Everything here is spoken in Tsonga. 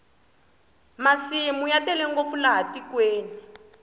masimu ya tele ngopfu laha tikweni